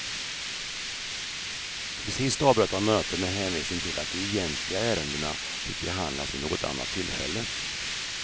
Till sist avbröt han mötet med hänvisning till att de egentliga ärendena fick behandlas vid något annat tillfälle.